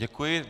Děkuji.